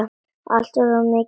Og sofa allt of mikið.